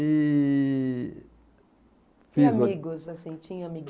E... E amigos, assim, tinha